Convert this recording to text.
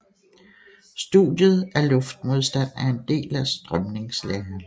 Studiet af luftmodstand er en del af strømningslæren